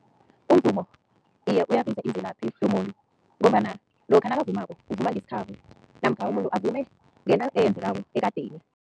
umvumo iye, imvelaphi yomuntu ngombana lokha nabavumako uvuma ngesikhabo namkha umuntu avume ngento eyenzekako ekadeni.